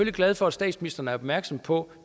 er glad for at statsministeren er opmærksom på